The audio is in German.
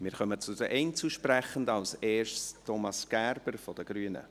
Wir kommen zu den Einzelsprechenden, zuerst Thomas Gerber von den Grünen.